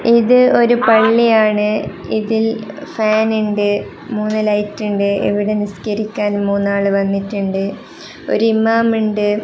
ഇത് ഒരു പള്ളിയാണ് ഇതിൽ ഫാൻ ഉണ്ട് മൂന്ന് ലൈറ്റ് ഉണ്ട് ഇവിടെ നിസ്കരിക്കാൻ മൂന്നാള് വന്നിട്ടുണ്ട് ഒരു ഇമാം ഉണ്ട്.